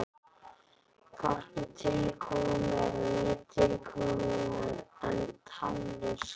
Hvorki tilkomumeira né tilkomuminna en tannlaus gretta.